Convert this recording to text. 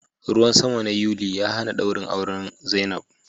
Ruwan sama na yuli ya hana dawrin auren zainab.